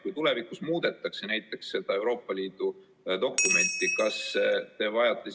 Kui tulevikus näiteks muudetakse seda Euroopa Liidu dokumenti, kas siis teie nägemuses ...